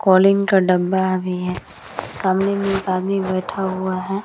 Calling का डब्बा भी है सामने में एक आदमी बैठा हुआ है।